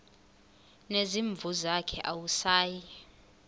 nezimvu zakhe awusayi